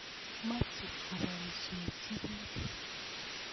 Mache kopoisyechi piik.